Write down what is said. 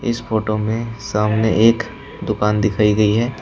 इस फोटो में सामने एक दुकान दिखाई गई है।